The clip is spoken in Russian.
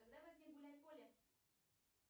когда возник гуляй поле